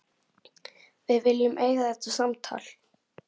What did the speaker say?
Við viljum eiga þetta samtal.